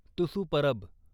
Tusu Parab